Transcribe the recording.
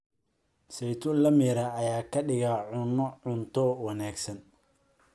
Saytuun la miiray ayaa ka dhiga cunno-cunto wanaagsan.